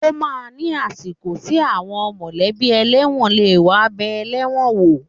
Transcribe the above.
Ó máa ń ni àsìkò tí àwọn mọ̀lẹ́bí ẹlẹ́wọ̀n lè wá bẹẹ ẹlẹ́wọ̀n wò.